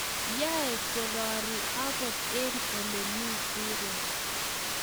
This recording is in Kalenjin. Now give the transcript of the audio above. Yaei kororie akot eng Ole mi rirek